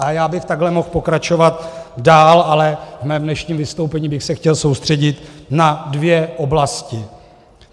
A já bych takhle mohl pokračovat dál, ale ve svém dnešním vystoupení bych se chtěl soustředit na dvě oblasti.